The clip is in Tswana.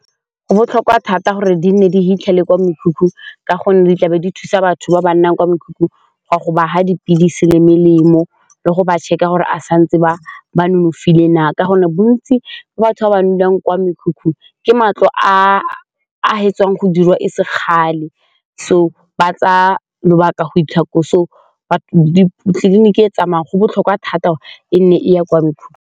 Go botlhokwa thata gore di nne di fitlhele kwa mekhukhung ka gonne di tlabe di thusa batho ba ba nnang kwa mekhukhung ga go ba fa dipilisi le melemo le go ba check-a gore a santse ba ba nonofile na? Ka gonne bontsi batho ba ba neelwang kwa mekhukhung ke matlo a fetsang go diriwa e se gale so ba tsaya lobaka go fitlha koo, so batho tleliniki e tsamaya go botlhokwa thata e nne e ya kwa.